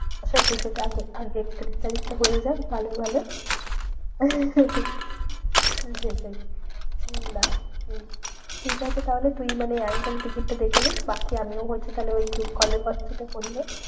সেটাই সেটাই আগে আগে একত্রিশ তারিখ টা হয়ে যাক ভালোয় ভালোয়। হম সেটাই উম নাহ উম ঠিকাছে তাহলে তুই মানে একদম টিকিটটা দেখে নিস্। বাকি আমিও হচ্ছে তাহলে ওই group কলে